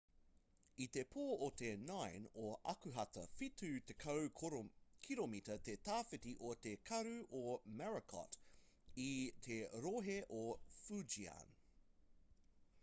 i te pō o te 9 o akuhata whitu tekau kiromita te tawhiti o te karu o morakot i te rohe o fujian